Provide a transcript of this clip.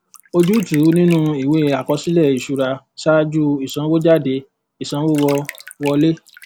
ojútùú nínú ìwé àkọsílẹ ìṣúra saju ìsanwójáde ìsanwówọlé